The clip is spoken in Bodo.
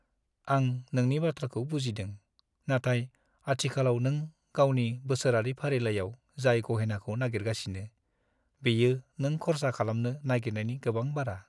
आं नोंनि बाथ्राखौ बुजिदों, नाथाय आथिखालाव नों गावनि बोसोरारि फालिथाइआव जाय गहेनाखौ नागिरगासिनो, बेयो नों खर्सा खालामनो नागिरनायनि गोबां बारा।